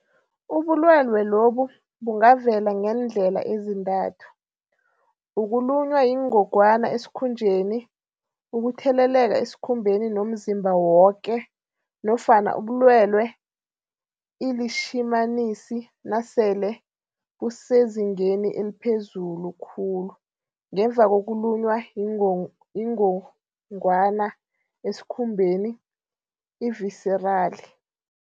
Ubulwelwe lobu bungavela ngeendlela ezintathu, ukulunywa yingogwana esikhunjeni ukutheleleka esikhumbeni nomzimba woke, nofana ubulwelwe iLitjhimanisi nasele busezingeni eliphezulu khulu ngemva ngokulunywa yingongwana esikhumbeni i-viserali .